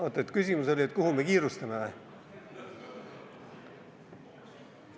Oot, kas küsimus oli, et kuhu me kiirustame või?